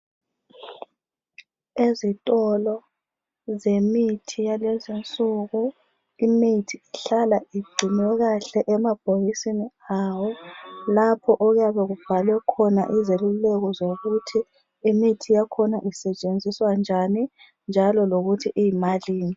Ezitolo zemithi yakulezinsuku imithi ihlala igciniwe kahle emabhokisini ayo lapho okuyabe kubhalwe khona izeluleko zokuthi imithi yakhona isetshenziswa njani njalo lokuthi yimalini.